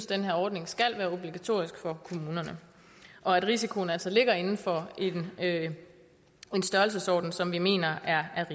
den her ordning skal være obligatorisk for kommunerne og at risikoen altså ligger inden for en størrelsesorden som vi mener